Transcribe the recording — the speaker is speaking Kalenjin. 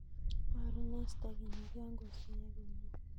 Borun en stekinik yon kosoyo komie.